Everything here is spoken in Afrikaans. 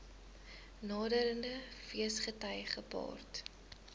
naderende feesgety gepaard